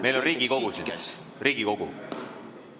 Meil on Riigikogu siin, Riigikogu.